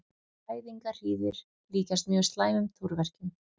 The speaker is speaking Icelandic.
Fæðingarhríðir líkjast mjög slæmum túrverkjum.